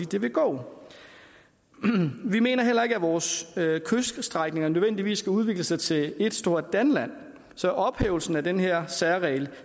det vil gå vi mener heller ikke at vores kyststrækninger nødvendigvis skal udvikle sig til ét stort danland så ophævelsen af den her særregel